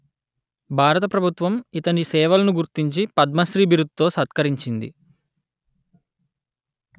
భారత ప్రభుత్వం ఇతని సేవలను గుర్తించి పద్మశ్రీ బిరుదు తో సత్కరించింది